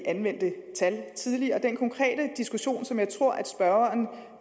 vi anvendte tal tidligere den konkrete diskussion som jeg tror at spørgeren